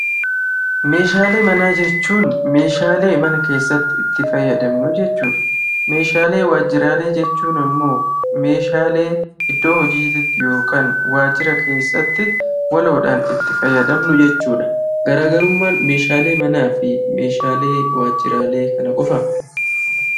Meeshaalee manaa jechuun meeshaalee mana keessatti itti fayyadamnu jechuudha. Meeshaalee waajjiraalee jechuun immoo meeshaalee iddoo hojiititti yokaan waajjira keessatti waloodhaan itti fayyadamnu jechuudha. Garaagarummaan meeshaalee manaa fi meeshaalee waajjiraalee kana qofaa?